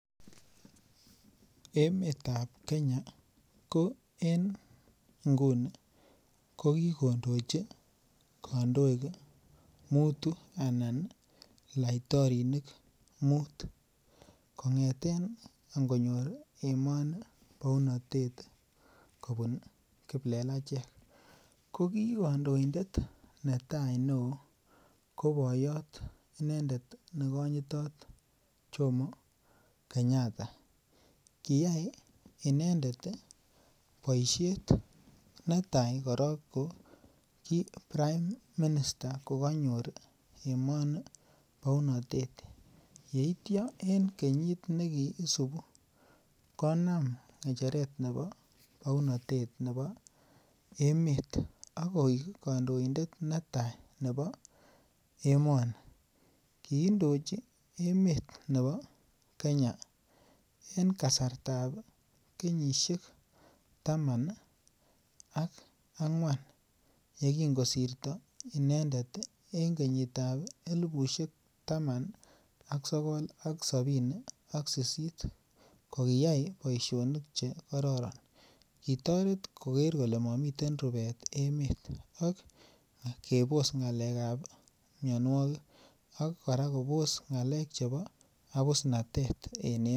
Emeetab Kenya inguni ko kikondoji kandoik mutu anan laitorinik muut. Kong'eten ingonyor emani baunatet, kobun kiplelachek ko ki kandoindet netai neo ko bayat inendet nekanyirot jomo Kenyatta. Koyai inendet boisiet netai ko ki prime minister kokanyor emoni baunatet, yeitia en kenyit nekiisubu, konam ng'echeret nebo baunatet nebo emeet akoik akoek kandoindet netai nebo emoni. Kiindochi Emmet nebo Kenya en kasartab kenyisiek taman ak ang'uan yekingosirta inendet en kenyitab elibusiek taman ak sokol ak sabini ak sisit. Kokiyai boisionik chekororon. Kitoret koker kole mamiten rubet emet ak kebos ng'alekab miannuagik akobos ng'alek chebo abusnatet.